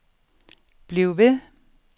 bliv ved